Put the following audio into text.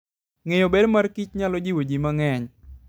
Ng'eyo ber mar Kich nyalo jiwo ji mang'eny.